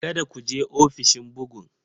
Kada ku je ofishin bugun!